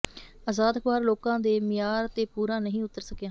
ਆਜ਼ਾਦ ਅਖ਼ਬਾਰ ਲੋਕਾਂ ਦੇ ਮਿਆਰ ਤੇ ਪੂਰਾ ਨਹੀਂ ਉਤਰ ਸਕਿਆ